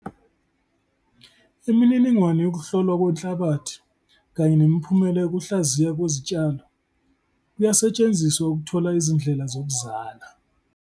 Imininingwane yokuhlolwa kwenhlabathi kanye nemiphumela yokuhlaziywa kwezitshalo kuyasetshenziswa ukuthola izindlela zokuzala.